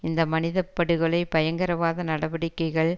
இந்த மனித படுகொலை பயங்கரவாத நடவடிக்கைகள்